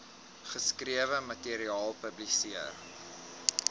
geskrewe materiaal publiseer